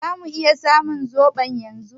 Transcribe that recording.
Zamu iya samun zoɓon yanzu?